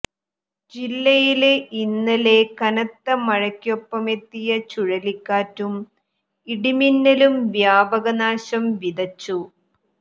ജില്ലയില് ഇന്നലെ കനത്ത മഴക്കൊപ്പമെത്തിയ ചുഴലിക്കാറ്റും ഇടിമിന്നലും വ്യാപക നാശം വിതച്ചു